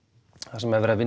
þar sem er verið að